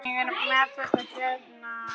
Ég er með þetta hérna.